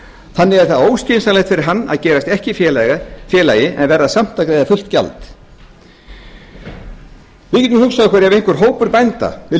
þannig er það óskynsamlegt fyrir hann að gerast ekki félagi en verða samt að greiða fullt gjald við getum hugsað okkur ef einhver hópur bænda vildi